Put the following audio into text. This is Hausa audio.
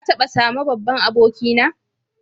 Ka taba same babban aboki na?